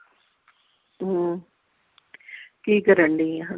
ਹਮ ਕੀ ਕਰਨ ਡਈ ਆ ।